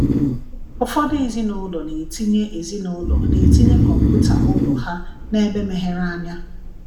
Ụfọdụ ezinụlọ na-etinye ezinụlọ na-etinye kọmputa ụlọ ha n’ebe meghere anya.